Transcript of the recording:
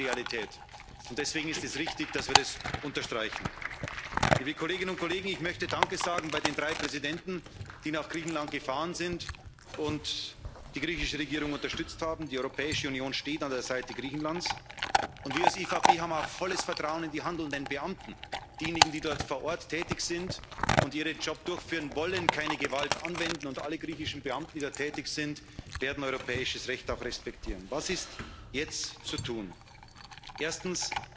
Fall. Das ist die Realität, und deswegen ist es richtig, dass wir das unterstreichen. Ich möchte Danke sagen bei den drei Präsidenten, die nach Griechenland gefahren sind und die griechische Regierung unterstützt haben. Die Europäische Union steht an der Seite Griechenlands. Und wir als EVP haben auch volles Vertrauen in die handelnden Beamten. Diejenigen, die dort vor Ort tätig sind und ihren Job durchführen, wollen keine Gewalt anwenden. Und alle griechischen Beamten, die dort tätig sind, werden europäisches Recht auch respektieren. Was ist jetzt zu